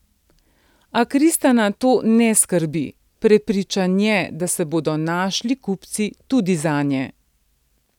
A Kristana to ne skrbi, prepričan je, da se bodo našli kupci tudi zanje.